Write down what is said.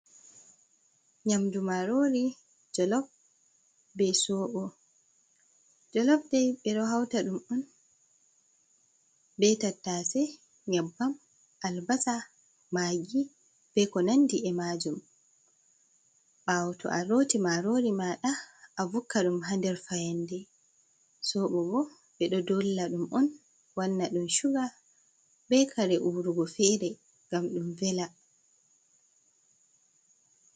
Nyaamdu marori jolof be sobo. Jolofa dai ɓeɗo hauta ɗum'on be tattase, nyabbam, albasa ,magi be ko nandi e majum. Ɓawo to alooti marori maaɗa avukka ɗum ha nder fayande, soɓo bo ɓeɗo doolla ɗum'on wannaɗum suga be kare uruugo feree ngam ɗum veela.